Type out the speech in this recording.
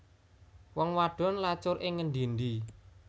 Wong wadon lacur ing ngendi endi